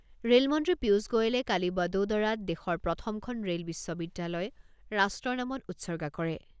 ৰে'লমন্ত্ৰী পিয়ুচ গোৱেলে কালি ৱদোদৰাত দেশৰ প্ৰথমখন ৰে'ল বিশ্ববিদ্যালয় ৰাষ্ট্ৰৰ নামত উৎসৰ্গা কৰে।